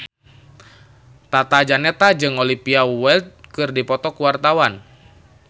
Tata Janeta jeung Olivia Wilde keur dipoto ku wartawan